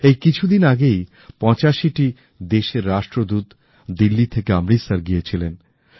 এই কিছুদিন আগেই 85 টি দেশেররাষ্ট্রদূত দিল্লি থেকে অমৃতসর গিয়েছিলেন